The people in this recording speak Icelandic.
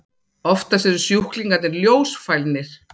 Oftast eru sjúklingarnir ljósfælnir.